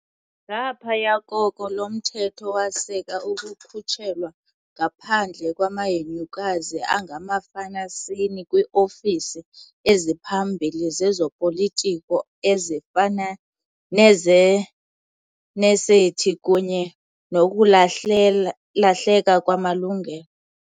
Ngaphaya koko, lo mthetho waseka ukukhutshelwa ngaphandle kwamahenyukazi angamafanasini kwiofisi eziphambili zezopolitiko, ezifana nezesenethi, kunye nokulahleka kwamalungelo.